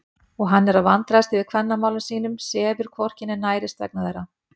Og hann er að vandræðast yfir kvennamálum sínum, sefur hvorki né nærist vegna þeirra!